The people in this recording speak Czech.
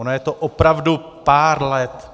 Ono je to opravdu pár let.